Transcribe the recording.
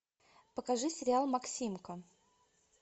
покажи сериал максимка